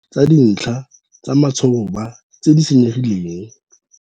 Ditiro tsa dintlha tsa matshoba tse di senyegileng.